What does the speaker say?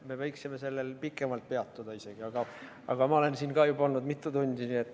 Me võiksime sellel pikemalt peatuda, aga ka mina olen siin olnud juba mitu tundi.